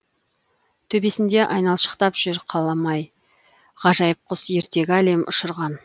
төбесінде айналшықтап жүр қалмай ғажайып құс ертегі әлем ұшырған